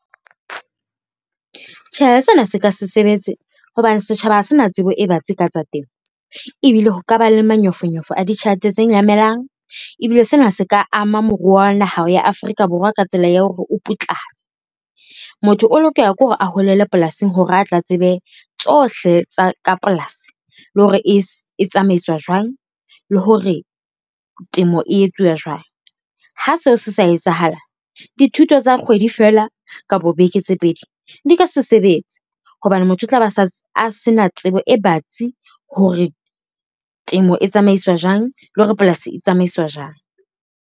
Tjhe, sena se ka se sebetse hobane setjhaba ha se na tsebo e batsi ka tsa temo, ebile ho kaba le manyofonyofo a ditjhelete tse nyamelang, ebile sena se ka ama moruo wa naha ya Afrika Borwa ka tsela ya hore o putlame. Motho o lokela ke hore a holele polasing hore a tla tsebe tsohle tsa ka polasi le ho re e tsamaiswa jwang, le hore temo e etsuwa jwang. Ha seo se sa etsahala dithuto tsa kgwedi feela kapo beke tse pedi di ka se sebetse, hobane motho o tla ba a se na tsebo e batsi hore temo e tsamaiswa jwang, le hore polasi e tsamaiswa jwang.